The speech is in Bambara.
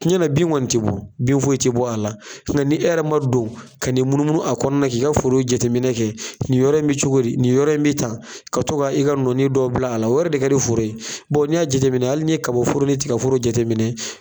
Tiɲɛna bin kɔni tɛ bɔ , bin foyi tɛ bɔ a la , nka ni e yɛrɛ ma don ka n'i munumunu a kɔnɔna na k'i ka foro jateminɛ kɛ nin yɔrɔ in bɛ cogo di, nin bɛ tan, ka taga i ka nɔɔni dɔw bila a la, o yɛrɛ de ka di foro ye bawo n'i y'a jateminɛ hali n'i ye kaba foro ni tiga foro jateminɛ.